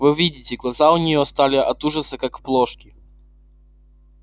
вы видите глаза у нее стали от ужаса как плошки